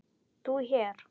ÞÚ HÉR?